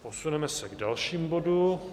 Posuneme se k dalšímu bodu.